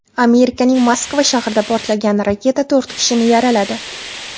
Amerikaning Moskva shahrida portlagan raketa to‘rt kishini yaraladi.